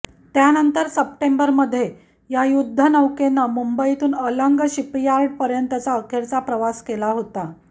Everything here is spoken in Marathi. त्यानंतर सप्टेंबरमध्ये या युद्धनौकेने मुंबईतून अलंग शिपयार्डपर्यंतचा अखेरचा प्रवास केला होता